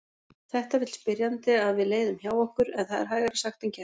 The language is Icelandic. Þetta vill spyrjandi að við leiðum hjá okkur en það er hægara sagt en gert.